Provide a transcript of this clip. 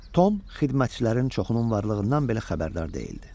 Tom xidmətçilərin çoxunun varlığından belə xəbərdar deyildi.